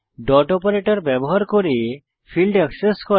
dot operator ব্যবহার করে field access করা